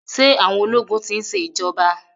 Ṣé àwọn ológun ti ń ṣe ìjọba.